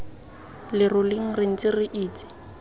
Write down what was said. leroleng re ntse re itse